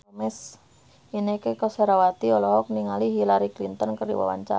Inneke Koesherawati olohok ningali Hillary Clinton keur diwawancara